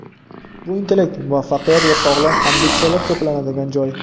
Bu intellekt, muvaffaqiyat va sog‘lom ambitsiyalar to‘planadigan joy.